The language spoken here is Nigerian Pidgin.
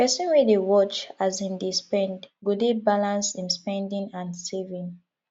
pesin wey dey watch as im dey spend go dey balance im spending and saving